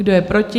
Kdo je proti?